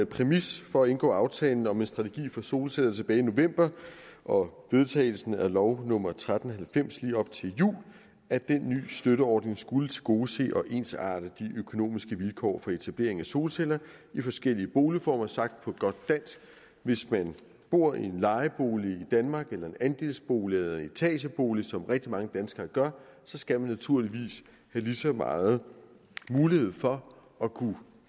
præmis for at indgå aftalen om en strategi for solceller tilbage i november og vedtagelsen af lov nummer tretten halvfems lige op til jul at den nye støtteordning skulle tilgodese og ensarte de økonomiske vilkår for etablering af solceller i forskellige boligformer sagt på godt dansk hvis man bor i en lejebolig i danmark eller i en andelsbolig eller i en etagebolig som rigtig mange danskere gør skal man naturligvis have lige så meget mulighed for at kunne